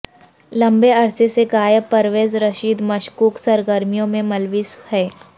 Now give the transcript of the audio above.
لمبے عرصے سے غائب پرویز رشید مشکوک سرگرمیوں میں ملوث ہیں